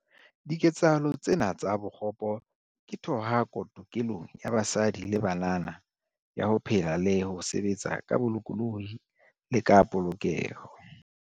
Diketsahalo tsena tsa bokgopo ke thohako tokelong ya basadi le banana ya ho phela le ho sebetsa ka bolokolohi le ka polokeho.